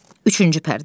Üçüncü pərdə.